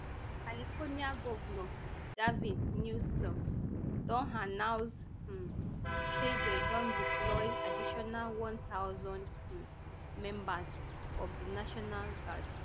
california govnor gavin newsom don announce um say dem don deploy additional one thousand um members of di national guard